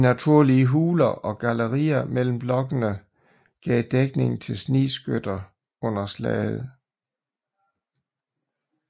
De naturlige huler og gallerier mellem blokkene gav dækning til snigskytter under slaget